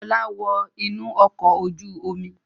Ọlá wọ inú ọkọ̀ ojú-omi!